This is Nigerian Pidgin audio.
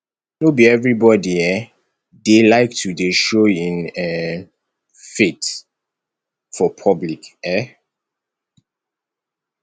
no be everybodi um dey like to dey show im um faith for public um